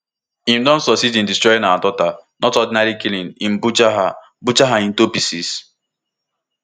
im don succeed in destroying our daughter not ordinary killing im butcher her butcher her into pieces